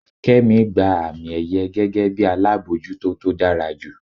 kemi gba ami-èyẹ́ gege bi alabọjuto to dara ju.